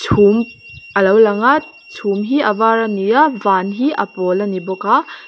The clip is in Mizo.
chhum alo lang a chhum hi a var a ni a van hi a pawl ani bawk a.